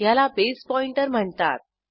ह्याला base pointer म्हणतात